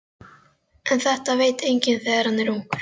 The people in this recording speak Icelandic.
En þetta veit enginn þegar hann er ungur.